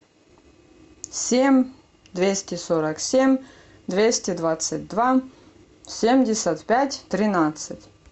семь двести сорок семь двести двадцать два семьдесят пять тринадцать